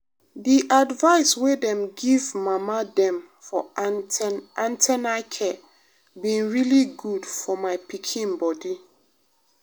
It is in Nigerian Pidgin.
the advice wey dem give mama dem for an ten na care been really good for my my pikin body.